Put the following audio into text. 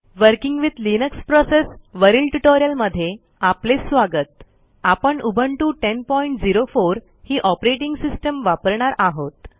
working with Linux process वरील ट्युटोरियलमध्ये आपले स्वागत आपण उबुंटू 1004 ही ऑपरेटिंग सिस्टीम वापरणार आहोत